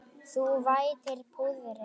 Þú vætir púðrið.